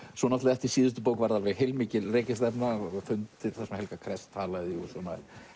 eftir síðustu bók var heilmikil rekistefna fundir þar sem Helga talaði og svona